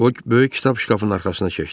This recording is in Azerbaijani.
O böyük kitab şkafının arxasına keçdi.